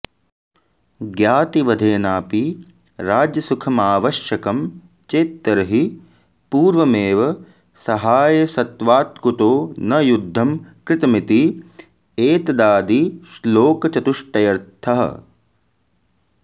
ज्ञातिवधेनापि राज्यसुखमावश्यकं चेत्तर्हि पूर्वमेव सहायसत्वात्कुतो न युद्धं कृतमिति एतदादिश्लोकचतुष्टयर्थः